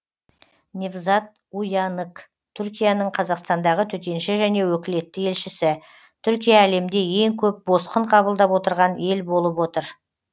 невзат уянык түркияның қазақстандағы төтенше және өкілетті елшісі түркия әлемде ең көп босқын қабылдап отырған ел болып отыр